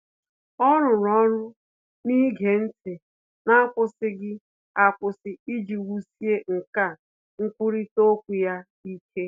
Ọ́ rụ́rụ́ ọ́rụ́ n’ígé ntị́ n’ákwụ́sị́ghị́ ákwụ́sị́ iji wùsíé nkà nkwurịta okwu ya ike.